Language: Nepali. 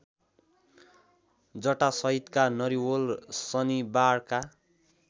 जटासहितका नरिवल शनिबारका